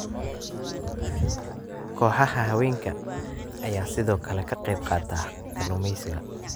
Kooxaha haweenka ayaa sidoo kale ka qaybqaata kalluumeysiga.